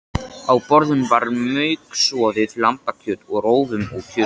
Á borðum var mauksoðið lambakjöt með rófum og kjötsúpu